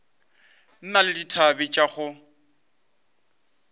na le dithabe tša go